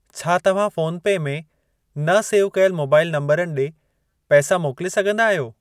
छा तव्हां PhonePe में न सेव कयल मोबाइल नंबरनि ॾे पैसा मोकिले सघंदा आहियो?